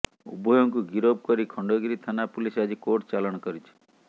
ଉଭୟଙ୍କୁ ଗିରଫ କରି ଖଣ୍ଡଗିରି ଥାନା ପୁଲିସ ଆଜି କୋର୍ଟ ଚାଲାଣ କରିଛି